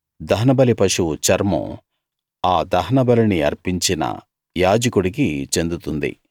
దహనబలి పశువు చర్మం ఆ దహనబలిని అర్పించిన యాజకుడికి చెందుతుంది